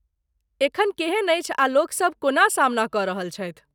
एखन केहन अछि आ लोकसभ कोना सामना कऽ रहल छथि?